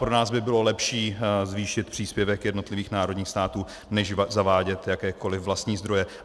Pro nás by bylo lepší zvýšit příspěvek jednotlivých národních států než zavádět jakékoliv vlastní zdroje.